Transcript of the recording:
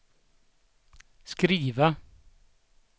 skriva